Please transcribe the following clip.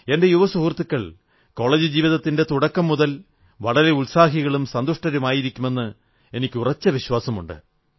എന്റെ യുവസുഹൃത്തുക്കൾ കോളജ് ജീവിതത്തിന്റെ തുടക്കം മുതൽ വളരെ ഉത്സാഹികളും സന്തുഷ്ടരുമായിരിക്കുമെന്ന് എനിക്ക് ഉറച്ച വിശ്വാസമുണ്ട്